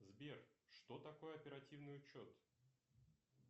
сбер что такое оперативный учет